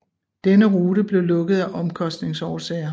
Denne rute blev lukket af omkostningsårsager